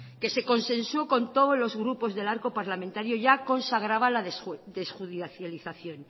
que se consensuo con todos los grupos del arco parlamentario ya consagraba la desjudicialización